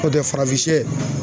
Nɔntɛ farafin sɛ